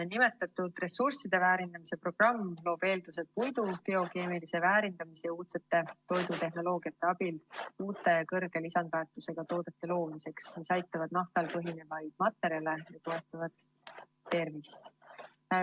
Nimetatud ressursside väärindamise programm loob eeldused puidu biokeemilise väärindamise ja uudse toidutehnoloogia abil uute, kõrge lisandväärtusega toodete loomiseks, mis asendavad naftal põhinevaid materjale ja toetavad tervist.